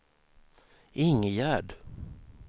Ingegerd